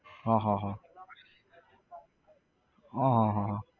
હા હા હા હા હા હા હા